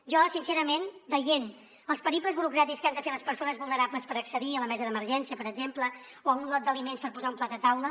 jo sincerament veient els periples burocràtics que han de fer les persones vulnerables per accedir a la mesa d’emergència per exemple o a un lot d’aliments per posar un plat a taula